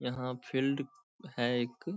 यहाँ फील्ड है एक --